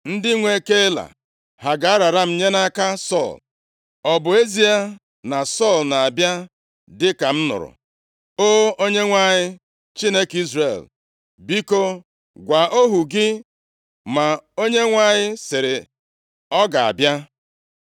Ndị nwe Keila ha ga-arara m nye nʼaka Sọl? Ọ bụ ezie na Sọl na-abịa dịka m nụrụ? O! Onyenwe anyị, Chineke Izrel, biko gwa ohu gị.” Ma Onyenwe anyị sịrị, “Ọ ga-abịa.”